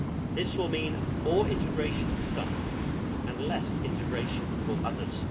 This will mean more integration for some and less integration for others.